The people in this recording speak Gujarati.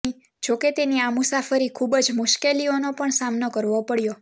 જોકે તેની આ મુસાફરી ખૂબ જ મુશ્કેલીઓનો પણ સામનો કરવો પડ્યો